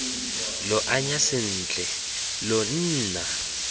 lo anya sentle lo nna